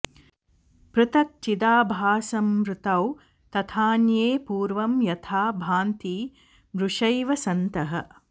पृथक् चिदाभासमृतौ तथान्ये पूर्वं यथा भान्ति मृषैव सन्तः